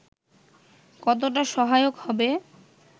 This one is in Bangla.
কতোটা সহায়ক হবে